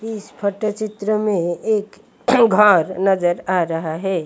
इस फोटो चित्र में एक घर नजर आ रहा है।